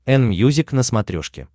энмьюзик на смотрешке